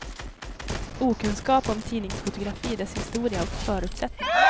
Okunskap om tidningsfotografi, dess historia och förutsättningar.